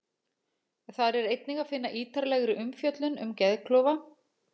Þar er einnig að finna ítarlegri umfjöllun um geðklofa.